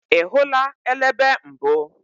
Ị hụla elebe mbụ?